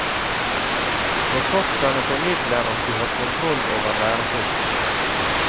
Forfatterne formidler at de har kontroll over lærestoffet.